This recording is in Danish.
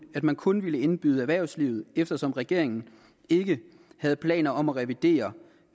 man kun ville indbyde erhvervslivet eftersom regeringen ikke havde planer om at revidere